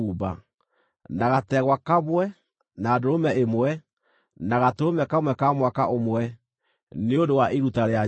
na gategwa kamwe, na ndũrũme ĩmwe, na gatũrũme ka mwaka ũmwe, nĩ ũndũ wa iruta rĩa njino;